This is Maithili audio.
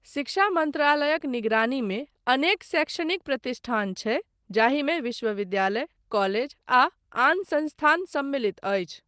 शिक्षा मन्त्रालयक निगरानीमे अनेक शैक्षणिक प्रतिष्ठान छै, जाहिमे विश्वविद्यालय, कॉलेज, आ आन संस्थान सम्मिलित अछि।